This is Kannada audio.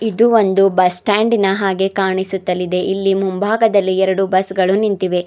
ಇದು ಒಂದು ಬಸ್ ಸ್ಟಾಂಡಿನ ಹಾಗೆ ಕಾಣಿಸುತ್ತಲಿದೆ ಇಲ್ಲಿ ಮುಂಭಾಗದಲ್ಲಿ ಎರಡು ಬಸ್ ಗಳು ನಿಂತಿವೆ.